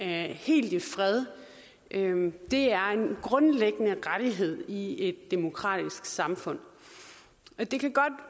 helt i fred er en grundlæggende rettighed i et demokratisk samfund det kan godt